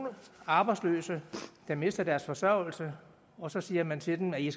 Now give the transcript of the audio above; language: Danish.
arbejdsløse der mister deres forsørgelse og så siger man til dem at de